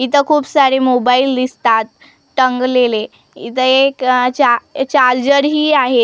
इथं खूप सारी मोबाईल दिसतात टंगलेले इथं एक आह चार्ज चार्जरही आहेत त त्याम--